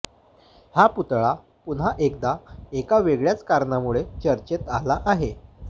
हा पुतळा पुन्हा एकदा एका वेगळ्याच कारणामुळे चर्चेत आला आहे